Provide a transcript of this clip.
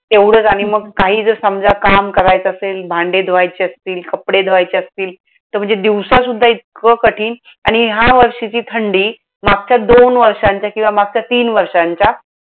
तेवढंच आणि मग काही जर समजा काम करायचं असेल, भांडी धुवायची असतील, कपडे धुवायचे असतील. तर म्हणजे दिवसासुद्धा इतकं कठीण आणि ह्या वर्षीची थंडी, मागच्या दोन वर्षांच्या किंवा मागच्या तीन वर्षांच्या